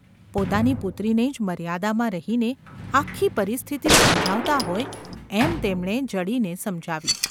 પોતાની પુત્રીને જ મર્યાદામાં રહીને આખી પરિસ્થિતિ સમજાવતા હોય એમ તેમણે જડીને સમજાવી.